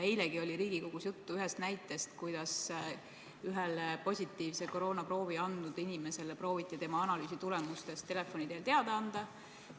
Eilegi oli Riigikogus juttu ühest näitest, kuidas positiivse koroonaproovi andnud inimesele prooviti tema analüüsitulemustest telefoni teel teada anda.